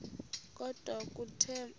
kodwa kuthe emva